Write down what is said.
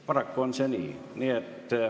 Paraku on see nii.